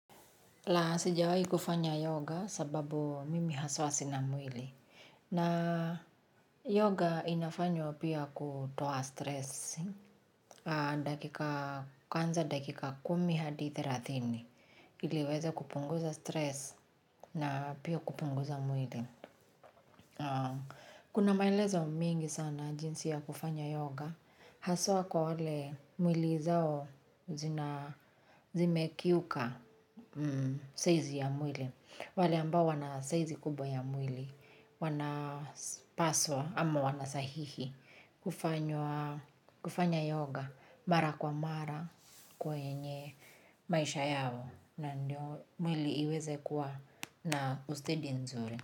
La sijawai kufanya yoga sababu mimi haswa sina mwili. Na yoga inafanywa pia kutoa stress. Dakika, kwanza dakika kumi hadi thelathini. Ili uweze kupunguza stress na pia kupunguza mwili. Kuna maelezo mingi sana jinsi ya kufanya yoga. Haswa kwa wale mwili zao zimekiuka saizi ya mwili. Wale ambao wanasaizi kubwa ya mwili wanapaswa ama wanastahili kufanya kufanya yoga mara kwa mara kwenye maisha yao na ndio mwili iweze kuwa na ustedi nzuri.